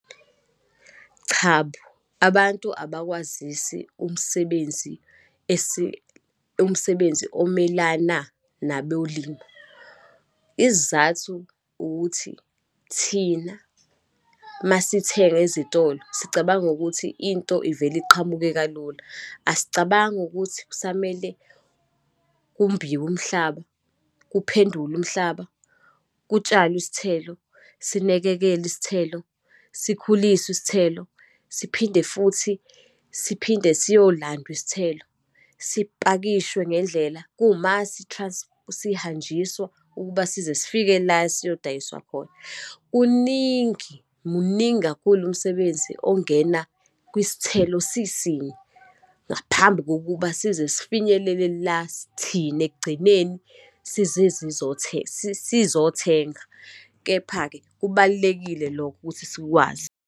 Chabo, abantu abakwazisi umsebenzi esi, umsebenzi omelana nabolimo. Isizathu ukuthi, thina uma sithenga ezitolo sicabanga ukuthi into ivele iqhamuke kalula. Asicabangi ukuthi kusamele kumbiwe umhlaba, kuphendulwe umhlaba, kutshalwe isithelo, sinekekelwe isithelo, sikhuliswe isithelo, siphinde futhi siphinde siyolandwa isithelo, sipakishwe ngendlela, sihanjiswa ukuba sizesifike la siyodayiswa khona. Kuningi, muningi kakhulu umsebenzi ongena kwisithelo sisinye, ngaphambi kokuba sizesifinyelele la thini ekugcineni sizothenga. Kepha-ke kubalulekile lokho, ukuthi sikwazi.